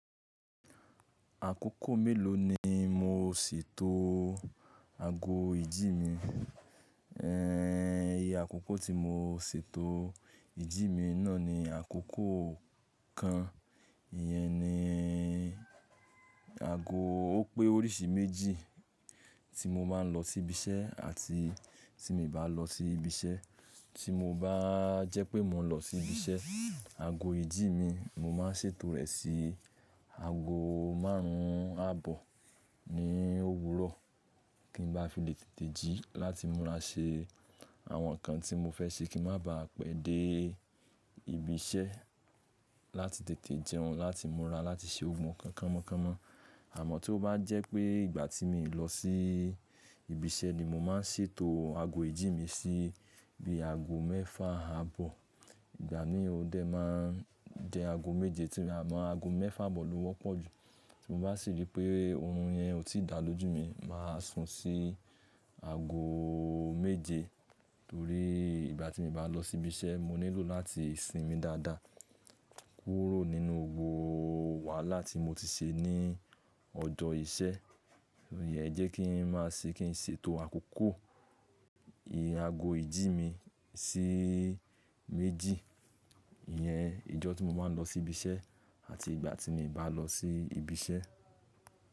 Àkókò mélòó ni mo si tó ago ìjí mi? Ehn, iye àkókò tí mo ṣi tó ìjí mi náà ni àkókò kan. Iyẹn ni ago ó pé oríṣi méjì tí mo máa ń lọ sí ibi iṣẹ́ àti tí mi ò bá lọ sí ibi iṣẹ́. Tí mo bá jẹ́ pé mo ń lọ sí ibi iṣẹ́, ago ìjí mi mo máa ṣe tó rẹ̀ sí ago márùn ún àbọ̀ ní òwúrọ̀ kí n ba fi lè tètè jí láti múra ṣe àwọn nǹkan tí mo fẹ́ ṣe kí má baà pẹ́ dé ibi iṣẹ́ láti tètè jẹun, láti múra, láti ṣe ohun kan, kánmọ́kánmọ́. Àmọ́ tí ó bá jẹ́ pé ìgbà tí mi ò lọ sí ibi iṣẹ́ ni mo máa ṣe tó ago ìjí mi sí bí ago mẹ́fà àbọ̀. Ìgbà ni ó dẹ máa jẹ́ ago méje, àmọ́ ago mẹ́fà àbọ̀ ló wọ́pọ̀ jù. Ti mo bá sì rí pé orun yẹn ò tí da lójú mi, mà á sun sí ago méje. Torí ìgbà tí mo bá lọ sí ibi iṣẹ́ mo nílò láti sinmi dáadáa, kúrò nínú gbogbo wàhálà tí mo ti ṣe ní ọjọ́ iṣẹ́. Iyen ẹ jẹ́ kí n máa ṣe kí n ṣe tó àkókò ìyè ago ìjí mi sí méjì. Iyẹn ìjọ́ tí mo máa ń lọ sí ibi iṣẹ́ àti ìgbà tí mi bá lọ sí ibi iṣẹ́.